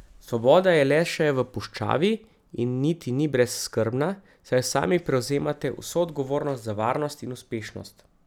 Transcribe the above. Svoboda je le še v puščavi in niti ni brezskrbna, saj sami prevzemate vso odgovornost za varnost in uspešnost.